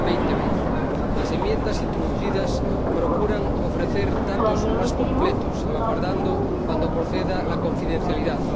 2020. Las enmiendas introducidas procuran ofrecer datos más completos, salvaguardando, cuando proceda, la confidencialidad.